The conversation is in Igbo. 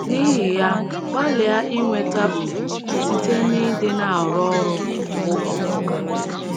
N’ihi ya, gbalịa inweta ùgwù site n’ịdị na - arụ ọrụ bụ́ ọkpọka.